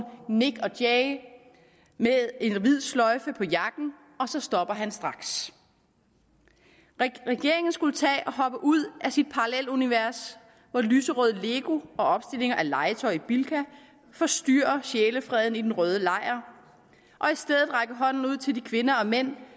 nik jay med en hvid sløjfe på jakken og så stopper han straks regeringen skulle tage og hoppe ud af sit parallelunivers hvor lyserødt lego og opstillinger af legetøj i bilka forstyrrer sjælefreden i den røde lejr og hånden ud til de kvinder og mænd